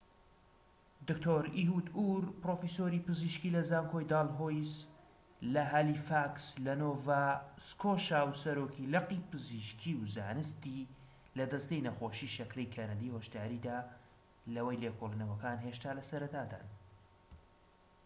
دکتۆر ئیهود ئور پرۆفیسۆری پزیشکی لە زانکۆی دالهۆیس لە هالیفاکس لە نۆڤا سکۆشا و سەرۆکی لقی پزیشکی و زانستی لە دەستەی نەخۆشی شەکرەی کەنەدی هۆشداریدا لەوەی لێکۆڵینەوەکان هێشتا لە سەرەتادان